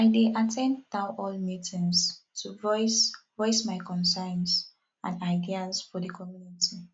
i dey at ten d town hall meetings to voice voice my concerns and ideas for the community